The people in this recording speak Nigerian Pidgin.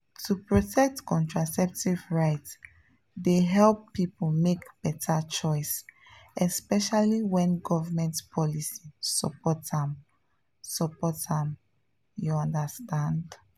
to protect contraceptive rights dey help people make better choice especially when government policy support am support am you understand?